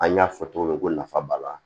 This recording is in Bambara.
An y'a fɔ cogo min ko nafa b'a la